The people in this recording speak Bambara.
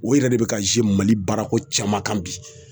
O yɛrɛ de bɛ ka mali baarako caman kan bi.